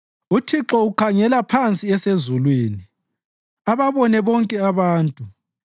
UThixo ukhangele phansi esezulwini ababone bonke abantu;